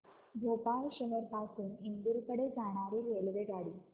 भोपाळ शहर पासून इंदूर कडे जाणारी रेल्वेगाडी